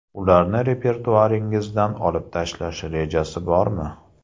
Ularni repertuaringizdan olib tashlash rejasi bormi?